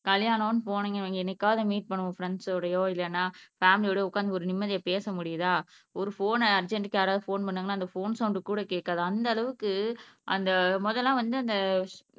கல்யாணம்ன்னு போனீங்க என்னைக்காவது மீட் பண்ணுவோம் பிரண்ட்ஸ்சோடயோ இல்லைன்னா பேமிலியோடயோ உக்காந்து ஒரு நிம்மதியா பேச முடியுதா ஒரு போன்ன அர்ஜென்ட்க்கு யாராவது போன் பண்ணாங்கன்னா அந்த போன் சவுண்ட் கூட கேட்காது அந்த அளவுக்கு அந்த முதல்லாம் வந்து அந்த